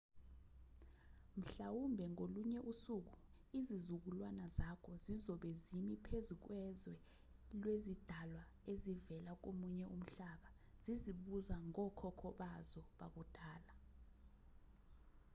mhlawumbe ngolunye usuku izizukulwane zakho zizobe zimi phezu kwezwe lwezidalwa ezivela komunye umhlaba zizibuza ngokhokho bazo bakudala